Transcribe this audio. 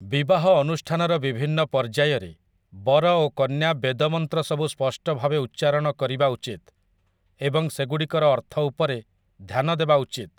ବିବାହ ଅନୁଷ୍ଠାନର ବିଭିନ୍ନ ପର୍ଯ୍ୟାୟରେ ବର ଓ କନ୍ୟା ବେଦ ମନ୍ତ୍ର ସବୁ ସ୍ପଷ୍ଟ ଭାବେ ଉଚ୍ଚାରଣ କରିବା ଉଚିତ ଏବଂ ସେଗୁଡ଼ିକର ଅର୍ଥ ଉପରେ ଧ୍ୟାନ ଦେବା ଉଚିତ ।